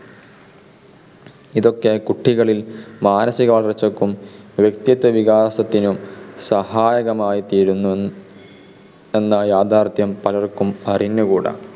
ഇതൊക്കെ കുട്ടികളിൽ മാനസിക വളർച്ചക്കും വ്യക്തിത്വ വികാസത്തിനും സഹായകമായിത്തീരുന്നുവെന്ന യാഥാർഥ്യം പലർക്കും അറിഞ്ഞുകൂടാ.